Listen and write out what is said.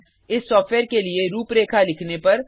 इस सॉफ्टवेयर के लिए रूपरेखा लिखने पर